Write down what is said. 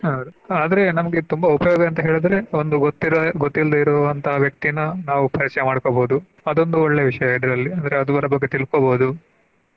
ಹೌದು ಆದ್ರೆ ನಮ್ಗೆ ತುಂಬಾ ಉಪಯೋಗ ಅಂತ ಹೇಳಿದ್ರೆ ಒಂದು ಗೊತ್ತ ಇರೋ ಗೊತ್ತಿಲ್ದೆ ಇರುವಂತಾ ವ್ಯಕ್ತಿನಾ ನಾವು ಪರಿಚಯ ಮಾಡ್ಕೊಬಹುದು ಅದೊಂದು ಒಳ್ಳೆ ವಿಷಯ ಇದ್ರಲ್ಲಿ ಅಂದ್ರೆ ಅವರ ಬಗ್ಗೆ ತಿಳ್ಕೊಬಹುದು.